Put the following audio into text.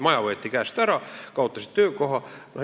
Maja võeti käest ära, nad kaotasid töökoha.